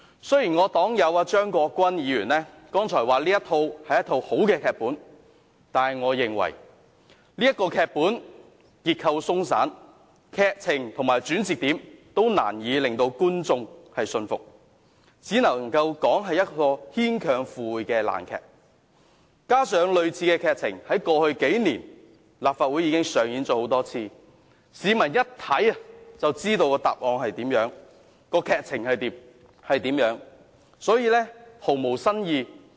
雖然我的黨友張國鈞議員剛才說這是一個好的劇本，但我認為這劇本結構鬆散，劇情和轉折點均難以令觀眾信服，只能說是牽強附會的爛劇，加上類似的劇情在過去數年已經多次在立法會上演，市民一看便知道劇情如何，所以毫無新意。